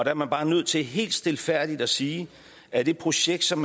er man bare nødt til helt stilfærdigt at sige at det projekt som